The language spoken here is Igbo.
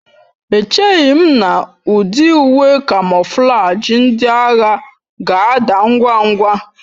Echeghị m na ụdị uwe kamoflaji ndị agha ga-ada ngwa ngwa